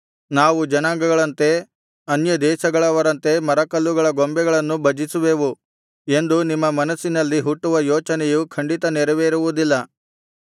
ನಾವು ಜನಾಂಗಗಳಂತೆ ಅನ್ಯದೇಶಗಳವರಂತೆ ಮರಕಲ್ಲುಗಳ ಬೊಂಬೆಗಳನ್ನು ಭಜಿಸುವೆವು ಎಂದು ನಿಮ್ಮ ಮನಸ್ಸಿನಲ್ಲಿ ಹುಟ್ಟುವ ಯೋಚನೆಯು ಖಂಡಿತ ನೆರವೇರುವುದಿಲ್ಲ